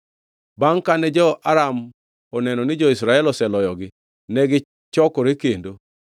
Bangʼ kane jo-Aram oneno ni jo-Israel oseloyogi, negichokore kendo.